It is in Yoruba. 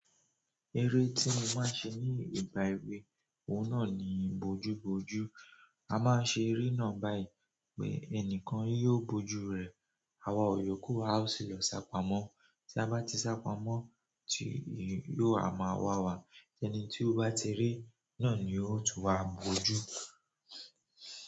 Eré tí mo máa ń ṣe ní ìgbà èwe, òun náà ni bojú bojú. A máa ń ṣe eré náà báyìí pé ẹnìkan yóò bojú rẹ̀, àwọn iyokù a sì lọ sá pamọ́. Tí a bá ti sá pamọ́ tíì yóò a máa wà wà, ẹni tí ó bá ti rí ná ni ó tún wá bojú.